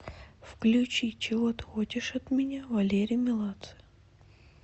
включи чего ты хочешь от меня валерий меладзе